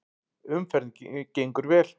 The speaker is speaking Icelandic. Umferðin gengur vel